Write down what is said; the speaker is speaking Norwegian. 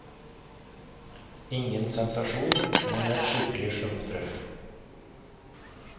Ingen sensasjon, men et skikkelig slumpetreff.